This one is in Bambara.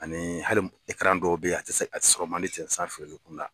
Ani hali dɔw bɛ yen a a tɛ sɔrɔ man di ten san feereli kunda